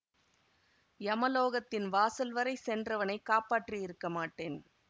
யமலோகத்தின் வாசல் வரை சென்றவனைக் காப்பாற்றியிருக்க மாட்டேன்